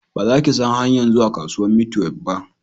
Ba za ki san hanyan zuwa kasuwan maitwef ba